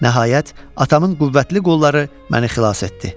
Nəhayət, atamın qüvvətli qolları məni xilas etdi.